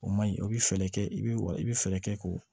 O ma ɲi o bɛ fɛɛrɛ kɛ i bɛ wa i bɛ fɛɛrɛ kɛ k'o